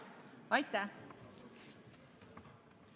Aitäh!